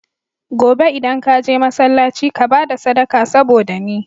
Gobe idan ka je masalaci ka bada sadaka saboda ni